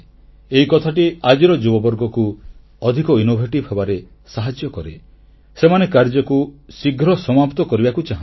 ଏହି କଥାଟି ଆଜିର ଯୁବବର୍ଗକୁ ଅଧିକ ସୃଜନଶୀଳ ହେବାରେ ସାହାଯ୍ୟ କରେ ସେମାନେ କାର୍ଯ୍ୟକୁ ଶୀଘ୍ର ସମାପ୍ତ କରିବାକୁ ଚାହାଁନ୍ତି